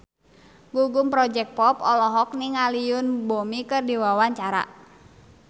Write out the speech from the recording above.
Gugum Project Pop olohok ningali Yoon Bomi keur diwawancara